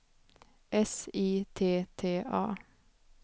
S I T T A